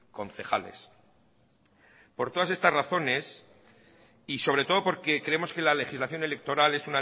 concejales por todas estas razones y sobre todo porque creemos que la legislación electoral es